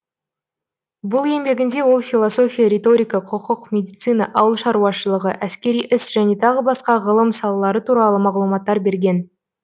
бұл еңбегінде ол философия риторика құқық медицина ауыл шаруашылығы әскери іс және тағы басқа ғылым салалары туралы мағлұматтар берген